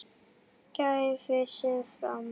gæfi sig fram.